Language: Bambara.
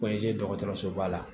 dɔgɔtɔrɔso ba la